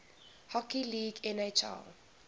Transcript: hockey league nhl